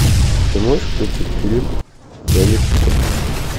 ты можешь включить фильм домик в сердце